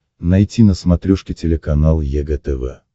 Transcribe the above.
найти на смотрешке телеканал егэ тв